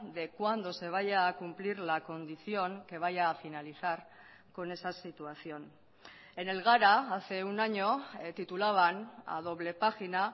de cuándo se vaya a cumplir la condición que vaya a finalizar con esa situación en el gara hace un año titulaban a doble página